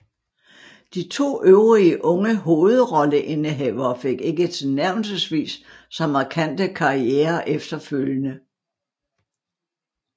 De to øvrige unge hovedrolleindehavere fik ikke tilnærmelsesvis så markante karrierer efterfølgende